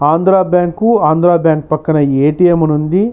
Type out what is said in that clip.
Andhra bank Andhra bank పక్కన ATM అని ఉంది.